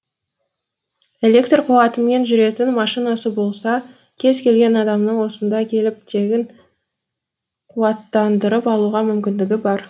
электр қуатымен жүретін машинасы болса кез келген адамның осында келіп тегін қуаттандырып алуға мүмкіндігі бар